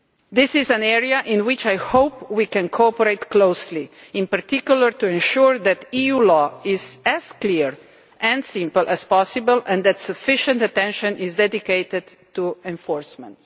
Camp. This is an area in which I hope we can cooperate closely, in particular to ensure that EU law is as clear and simple as possible and that sufficient attention is dedicated to enforcement.